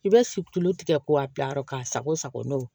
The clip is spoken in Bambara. I bɛ situlu tigɛ k'o bila yɔrɔ k'a sago sago n'o ye